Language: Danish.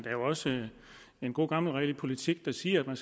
er jo også en god gammel regel i politik der siger at man